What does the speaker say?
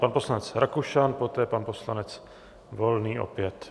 Pan poslanec Rakušan, poté pan poslanec Volný opět.